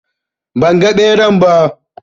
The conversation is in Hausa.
Ban ga ɓeran ba